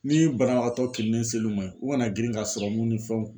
Ni banabagatɔ kirinnen sel'u ma yen u kana girin ka serɔmu ni fɛnw